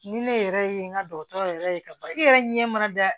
Ni ne yɛrɛ ye n ka dɔgɔtɔrɔ yɛrɛ ye kaba i yɛrɛ ɲɛ mana da